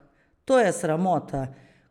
To je sramota!